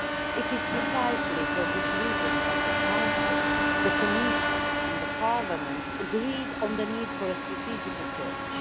It is precisely for this reason that the Council, the Commission and the Parliament agreed on the need for a strategic approach.